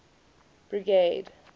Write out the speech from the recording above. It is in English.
brigade